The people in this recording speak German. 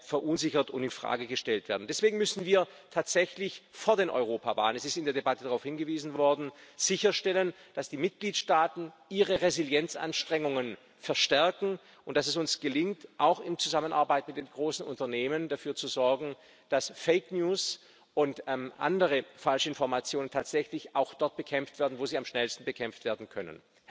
verunsichert und in Frage gestellt werden. Deswegen müssen wir tatsächlich vor der Europawahl es ist in der Debatte darauf hingewiesen worden sicherstellen, dass die Mitgliedstaaten ihre Resilienzanstrengungen verstärken und dass es uns gelingt, auch in Zusammenarbeit mit den großen Unternehmen dafür zu sorgen, dass Fake News und andere Falschinformationen tatsächlich auch dort bekämpft werden, wo sie am schnellsten bekämpft werden können.